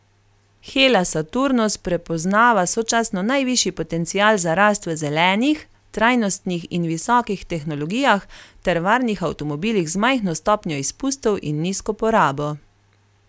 Hella Saturnus prepoznava sočasno najvišji potencial za rast v zelenih, trajnostnih in visokih tehnologijah ter varnih avtomobilih z majhno stopnjo izpustov in nizko porabo.